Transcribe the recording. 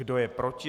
Kdo je proti?